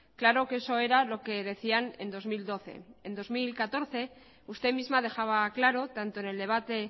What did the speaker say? claro que eso era lo que decían en dos mil doce en dos mil catorce usted misma dejaba claro tanto en el debate